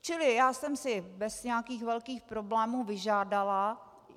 Čili já jsem si bez nějakých velkých problémů vyžádala...